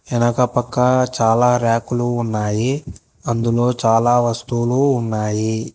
ఎనక పక్క చాలా ర్యాక్లు ఉన్నాయి అందులో చాలా వస్తువులు ఉన్నాయి.